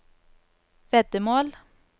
veddemål